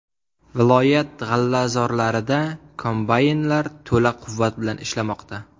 Viloyat g‘allazorlarida kombaynlar to‘la quvvat bilan ishlamoqda.